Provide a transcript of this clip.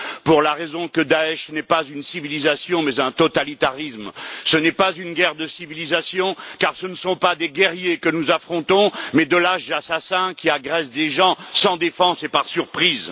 pour la raison que Daesch n'est pas une civilisation mais un totalitarisme. Ce n'est pas une guerre de civilisations car ce ne sont pas des guerriers que nous affrontons mais de lâches assassins qui agressent des gens sans défense et par surprise.